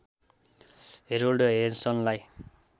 Harold हेन्सनलाई